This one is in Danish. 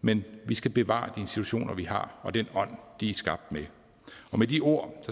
men vi skal bevare de institutioner vi har og den ånd de er skabt med med de ord